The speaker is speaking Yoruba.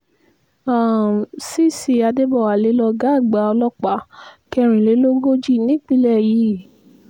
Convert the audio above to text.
um cc adébọ̀wálé lọ̀gá àgbà ọlọ́pàá kẹrìnlélógójì nípínlẹ̀ yìí